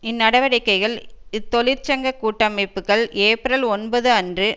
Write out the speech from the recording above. இந்நடவடிக்கைகள் இத்தொழிற்சங்க கூட்டமைப்புக்கள் ஏப்ரல் ஒன்பது அன்று